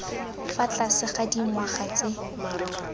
fa tlase ga dingwaga tse